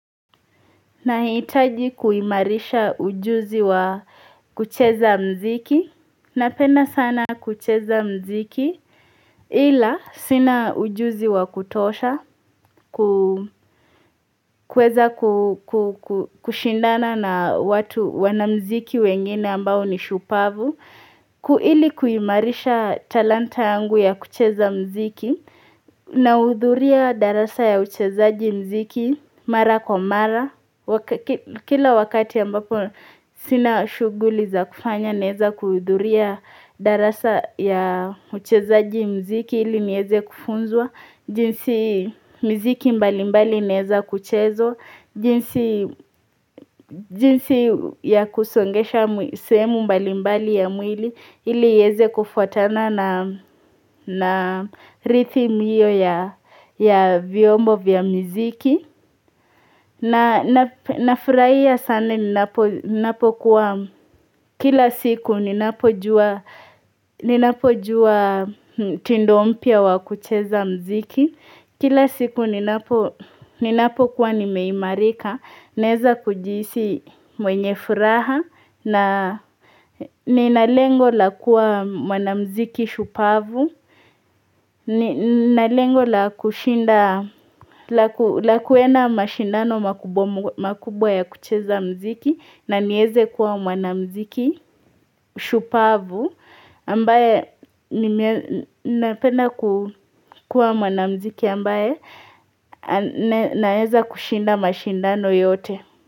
Nahitaji kuimarisha ujuzi wa kucheza mziki Napena sana kucheza mziki Hila sina ujuzi wa kutosha kuweza kushindana na watu wanamziki wengine ambao ni shupavu Kuili kuimarisha talanta yangu ya kucheza mziki Naudhuria darasa ya uchezaji mziki Mara kwa mara Kila wakati ambapo sina shuguli za kufanya neza kuhidhuria darasa ya uchezaji mziki ili nieze kufunzwa jinsi mziki mbalimbali neza kuchezo jinsi ya kusongesha sehemu mbalimbali ya mwili ili iyeze kufuatana na rhythm hiyo ya viombo vya mziki Nafuraia sana ninapo kuwa kila siku ninapo jua mtindo mpia wa kucheza mziki Kila siku ninapo kuwa nimeimarika, neza kujisi mwenye furaha na nina lengo la kuwa mwanamziki shupavu ni nalengo la kushinda la kuenda mashindano makubwa ya kucheza mziki na nieze kuwa mwanamziki shupavu ambaye napenda kuwa mwanamziki ambaye naheza kushinda mashindano yote.